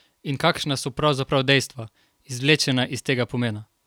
In kakšna so pravzaprav dejstva, izvlečena iz tega pomena?